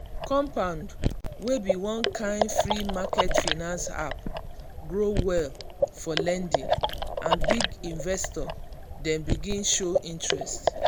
compound wey be one kind free-market finance app grow well for lending and big investor dem begin show interest.